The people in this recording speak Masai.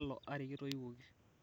kalo ari kitoiwuoki